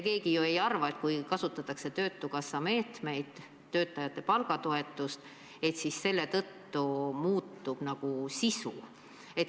Keegi ju ei arva, et kui kasutatakse töötukassa meetmeid, töötajate palgatoetust, siis selle tõttu muutub sisu.